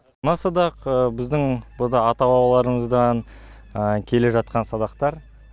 мына садақ біздің ата бабаларымыздан келе жатқан садақтар